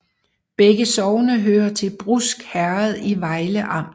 Begge sogne hørte til Brusk Herred i Vejle Amt